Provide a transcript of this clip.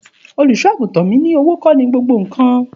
Òlúsọàgútàn mi ni, òwó kọ ni gbògbó kan